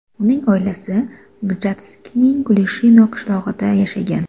Uning oilasi Gjatskning Klushino qishlog‘ida yashagan.